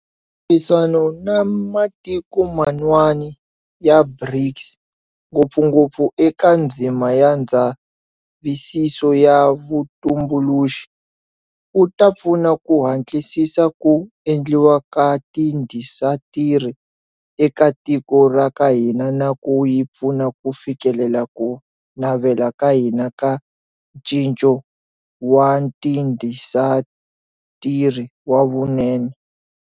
Ntirhisano na matiko man'wana ya BRICS, ngopfungopfu eka ndzima ya ndzavisiso ya vutumbuluxi, wu ta pfuna ku hatlisisa ku endliwa ka tiindasitiri eka tiko ra ka hina na ku hi pfuna ku fikelela ku navela ka hina ka Ncinco wa Tiindasitiri wa Vunene.